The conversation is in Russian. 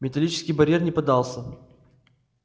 металлический барьер не поддался